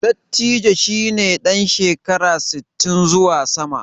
Dattijo shi ne ɗan shekara sittin zuwa sama.